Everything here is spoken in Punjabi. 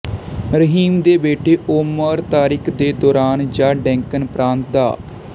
ਰਹੀਮ ਦੇ ਬੇਟੇ ਓਮਰ ਤਾਰਿਕ ਦੇ ਦੌਰਾਨ ਜਾਂ ਡੈਕਨ ਪ੍ਰਾਂਤ ਦਾ